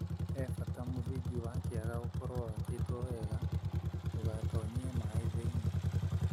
He bata mũthingi wa kĩaga ũkorwo wakĩtwo wega ndũgatonyie maaĩ thĩinĩ.